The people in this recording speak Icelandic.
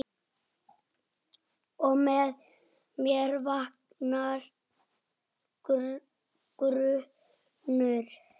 Og með mér vaknar grunur.